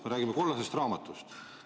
Me räägime kollasest raamatust.